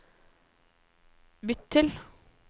bytt til